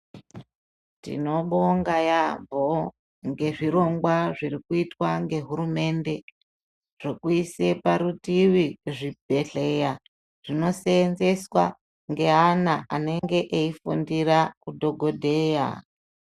Tinobonga yaamho ngezvirongwa zvirikuitwa ngehurumende zvokuise parutivi zvibhehleya zvinoseenzeswa ngeana anenge eifundira udhokodheya.